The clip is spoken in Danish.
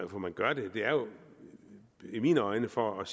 man gør det det er jo i mine øjne for at